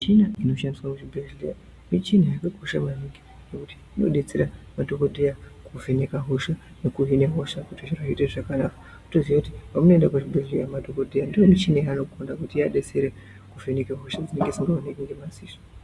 Michina inoshandiswaa muzvibhehlera michina yakakosha maningi ngekuti inodetsera madhokodheya kuvheneka hosha nekuhina hosha kuti zviite zvakanaka. Kutoziya kuti pamunoenda kuzvibhedhleya madhokodheya ndomichini yanogonda kuti ivadetsere kuvheneke hosha dzinenge dzisingaonekwi ngemaziso.